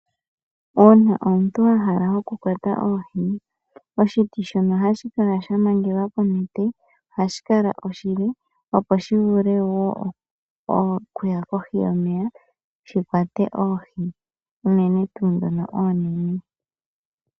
Uuna omuntu a hala okukwata oohi oshiti shono hashi kala sha mangelwa konete ohashi kala oshile, opo shi vule wo okuya kohi yomeya shi kwate oohi, unene tuu ndhono oonene.